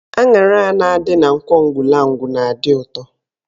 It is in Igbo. Aṅara a na-adị na Nkwọ Ugwulangwu na-adị ụtọ